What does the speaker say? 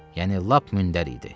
Yəni lap mündər idi.